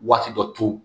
Waati dɔ to